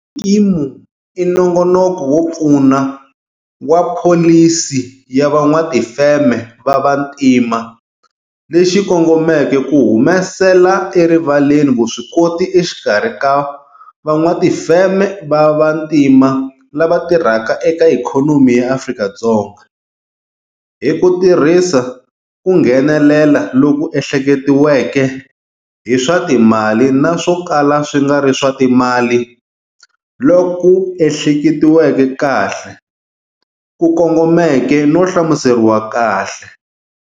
Xikimu i nongonoko wo pfuna wa Pholisi ya Van'watifeme va Vantima lexi kongomeke ku humesela erivaleni vuswikoti exikarhi ka van'watifeme va vantima lava tirhaka eka ikhonomi ya Afrika-Dzonga hi ku tirhisa ku nghenelela loku ehleketiweke hi swa timali na swo kala swi nga ri swa timali loku ehleketiweke kahle, ku kongomeke no hlamuseriwa kahle.